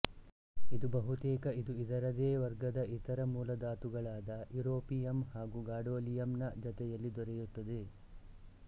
ಇದು ಬಹುತೇಕ ಇದು ಇದರದೇ ವರ್ಗದ ಇತರ ಮೂಲಧಾತುಗಳಾದ ಯುರೋಪಿಯಮ್ ಹಾಗೂ ಗಾಡೋಲಿಯಮ್ ನ ಜತೆಯಲ್ಲಿ ದೊರೆಯುತ್ತದೆ